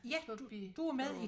Ja du var med i